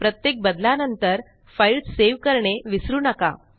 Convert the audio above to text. प्रत्येक बदलानंतर file save करणे विसरू नका